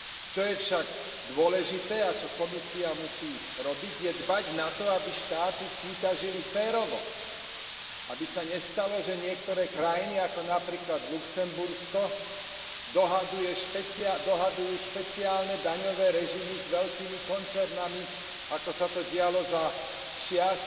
Čo je však dôležité a čo Komisia musí robiť, je dbať na to, aby štáty súťažili férovo, aby sa nestalo, že niektoré krajiny, ako napríklad Luxembursko, dohadujú špeciálne daňové režimy s veľkými koncernami, ako sa to dialo za čias